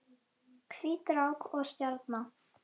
Hvít rák og stjarna